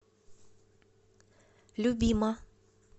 любима